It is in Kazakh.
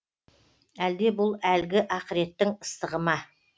әлде бұл әлгі ақыреттің ыстығы ма